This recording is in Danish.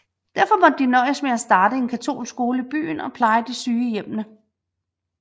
Derfor måtte de nøjes med at starte en katolsk skole i byen og pleje de syge i hjemmene